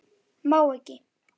Má ekki.